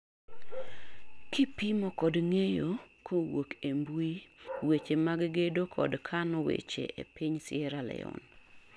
kipimo kod ng'eyo kowuok e mbuyi weche mag gedo kod kano weche e piny Sierra leon